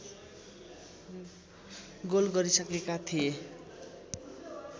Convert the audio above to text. goal गरिसकेका थिए